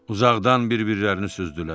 Uzaqdan bir-birlərini süzdülər.